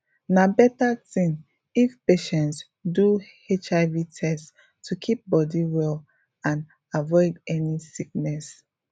na better thing if patients do hiv test to keep body well and avoid any sickness